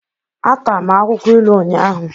Ata m akwukwo ilu ụnyahụ